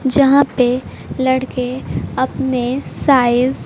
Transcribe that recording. जहां पे लड़के अपने साइज --